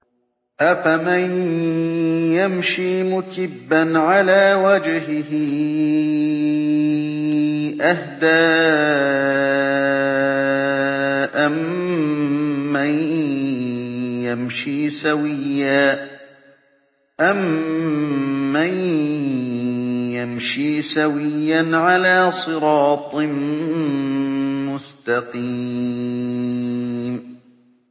أَفَمَن يَمْشِي مُكِبًّا عَلَىٰ وَجْهِهِ أَهْدَىٰ أَمَّن يَمْشِي سَوِيًّا عَلَىٰ صِرَاطٍ مُّسْتَقِيمٍ